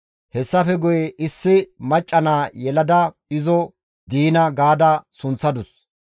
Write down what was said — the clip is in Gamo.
Hessafe guye issi macca naa yelada izo Diina ga sunththadus.